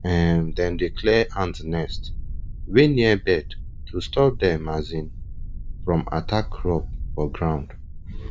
um dem dey clear ant nest wey near bed to stop dem um from attack crop for ground